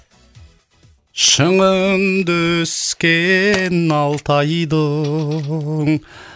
шыңында өскен алтайдың